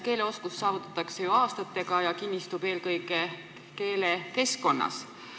Keeleoskus saavutatakse ju aastatega ja kinnistub eelkõige keelekeskkonnas.